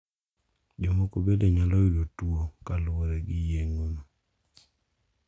Jomoko bende nyalo yudo tuo kaluwore gi yeng`ono.